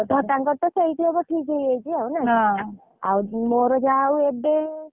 ହଁ ତାଙ୍କର ତ ସେଇଠି ହବ ପୂରା ଠିକ୍‌ ହେଇଯାଇଛି ଆଉ ନା?